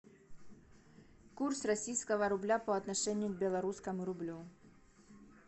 курс российского рубля по отношению к белорусскому рублю